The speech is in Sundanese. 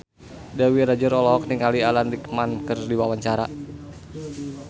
Dewi Rezer olohok ningali Alan Rickman keur diwawancara